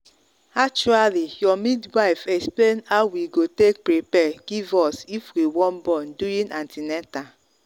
actuallyour midwife explain how we go take prepare give us if we wan born during an ten atal.